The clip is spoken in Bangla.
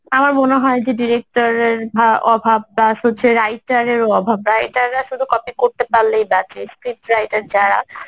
আমার মনে হয় যে director এর বা অভাব plus হচ্ছে writer অভাব writer রা শুধু copy করতে পারলেই বাঁচে script writer যারা